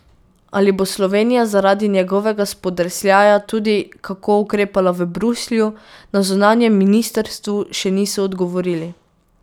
Ali bo Slovenija zaradi njegovega spodrsljaja tudi kako ukrepala v Bruslju, na zunanjem ministrstvu še niso odgovorili.